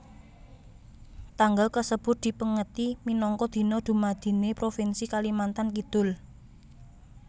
Tanggal kasebut dipèngeti minangka Dina Dumadiné Propinsi Kalimantan Kidul